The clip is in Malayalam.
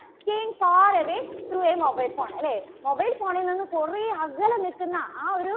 staying far away through a mobile phone അല്ലേ mobile phone ൽ നിന്നും കുറെ അകലെ നിൽക്കുന്ന ആ ഒരു